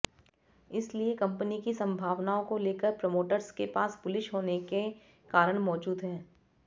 इसलिए कंपनी की संभावनाओं को लेकर प्रमोटर्स के पास बुलिश होने के कारण मौजूद हैं